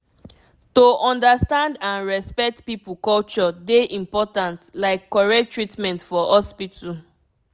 to understand and respect people culture dey important like correct treatment for hospital